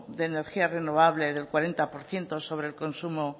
de energía renovable del cuarenta por ciento sobre el consumo